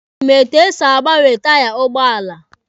Ị ma etu esi agbanwe taiya ụgbọala?